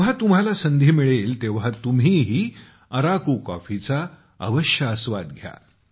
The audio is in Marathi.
जेव्हा तुम्हाला संधी मिळेल तेव्हा तुम्हीही अराकू कॉफीचा अवश्य आस्वाद घ्या